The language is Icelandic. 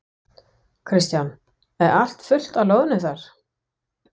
Kristján: Er allt fullt af loðnu þar?